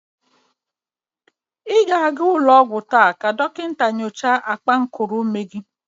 Ị ga-aga ụlọ ọgwọ taa ka dọkịnta nyocha akpankuru ume gi?